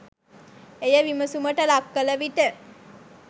එය විමසුමට ලක්කළ විට